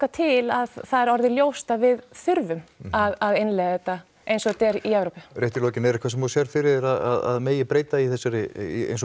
til að það er orðið ljóst að við þurfum að innleiða þetta eins og þetta er í Evrópu rétt í lokin er eitthvað sem þú sérð fyrir þér að megi breyta í þessari í